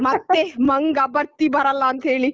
ಮತ್ತೆ ಮಂಗ ಬರ್ತಿ ಬರಲ್ಲ ಅಂತ ಹೇಳಿ.